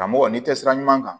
Karamɔgɔ n'i tɛ sira ɲuman kan